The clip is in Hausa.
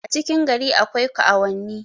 a cikin gari akwai kaauwanni